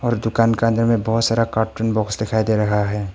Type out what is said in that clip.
और दुकान के अंदर बहुत सारा कार्टून बॉक्स दिखाई दे रहा है।